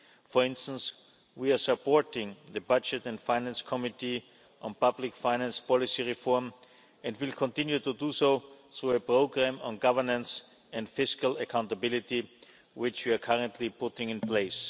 For instance, we are supporting the Budget and Finance Committee on public finance policy reform and will continue to do so through a programme on governance and fiscal accountability which we are currently putting in place.